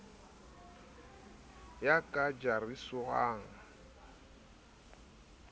ya ka jariswang sekodi sa